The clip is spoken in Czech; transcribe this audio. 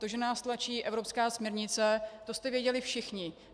To, že nás tlačí evropská směrnice, to jste věděli všichni.